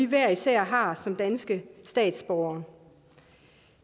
hver især har som dansk statsborger